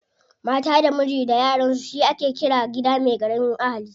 Mata da miji da yaransu shi ake ƙira gida me ƙaramin ahali.